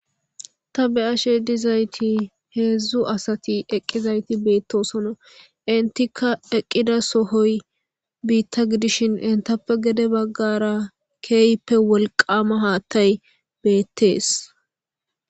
Ta be'ashe dizayti hedzu asati eqizayti betosona entika eqida sohoy bita gidishin entappe gedebagara kehipe wolqama hathay betes.